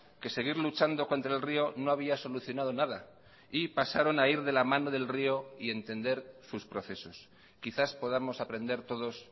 que seguir luchando contra el río no había solucionado nada y pasaron a ir de la mano del río y entender sus procesos quizás podamos aprender todos